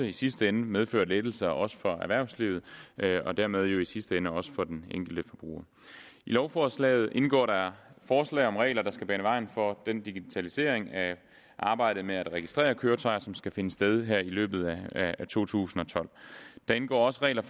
i sidste ende medfører lettelser også for erhvervslivet og dermed jo i sidste ende også for den enkelte forbruger i lovforslaget indgår der forslag om regler der skal bane vejen for den digitalisering af arbejdet med at registrere køretøjer som skal finde sted her i løbet af to tusind og tolv der indgår også regler